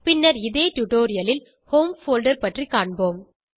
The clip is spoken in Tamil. பின்னர் இதே டுடோரியலில் ஹோம் போல்டர் பற்றி காண்போம்